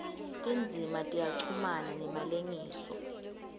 tindzima tiyachumana ngemalengiso